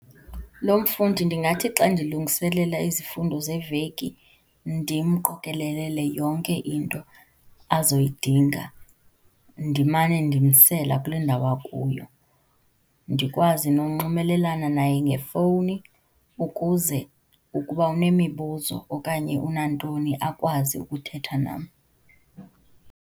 Lo mfundi, ndingathi xa ndilungiselela izifundo zeveki ndimqokelelele yonke into azoyidinga, ndimane ndimsela kule ndawo akuyo. Ndikwazi nokunxibelelana naye ngefowuni ukuze ukuba unemibuzo okanye unantoni, akwazi ukuthetha nam.